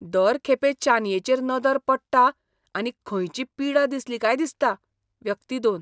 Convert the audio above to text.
दर खेपे चानयेचेर नदर पडटा, आनी खंयची पिडा दिसली काय दिसता. व्यक्ती दोन